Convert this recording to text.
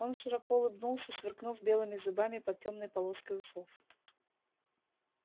он широко улыбнулся сверкнув белыми зубами под тёмной полоской усов